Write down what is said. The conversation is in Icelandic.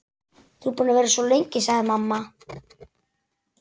Þú ert búin að vera svo lengi, sagði mamma.